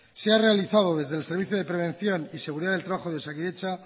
se ha realizado desde el servicio de prevención y seguridad del trabajo de osakidetza